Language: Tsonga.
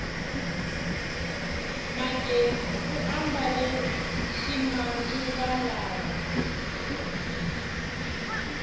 magezi u ambale ximanguva lawa